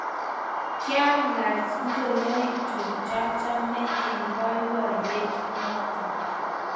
Kyalach ngorikchuk chachame eng boiboiyet noto